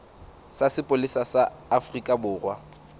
sa sepolesa sa afrika borwa